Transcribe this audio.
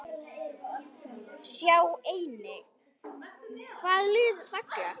Sjá einnig: Hvaða lið falla?